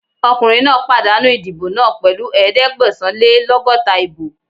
Ọkùnrin náà pàdánù ìdìbò náà pẹ̀lú ẹ̀ẹ́dẹ́gbẹ̀sán-lé-lọ́gọ́ta ìbò